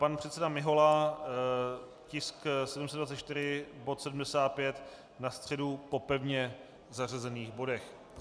Pan předseda Mihola, tisk 724, bod 75, na středu po pevně zařazených bodech.